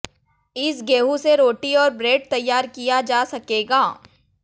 इस गेहूं से रोटी और ब्रेड तैयार किया जा सकेगा